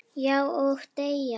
Já, og deyja